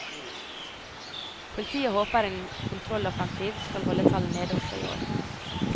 Politiet håper en kontrolloffensiv skal holde tallet nede også i år.